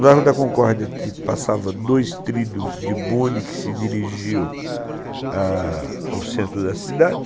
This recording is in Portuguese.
O Largo da Concórdia passava dois trilhos de bonde que se dirigiam a ao centro da cidade.